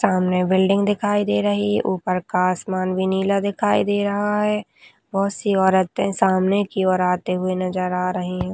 सामने बिल्डिंग दिखाई दे रही ऊपर का आसमान भी नीला दिखाई दे रहा है बहौत सी औरतें सामने की ओर आते हुए नज़र आ रही है।